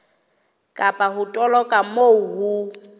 kapa ho toloka moo ho